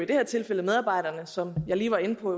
som jeg lige var inde på